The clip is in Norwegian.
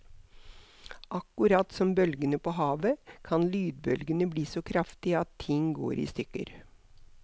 Akkurat som bølgene på havet, kan lydbølgene bli så kraftige at ting går i stykker.